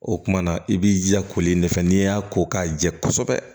O kumana i b'i jija kolen de fɛ n'i y'a ko k'a jɛ kosɛbɛ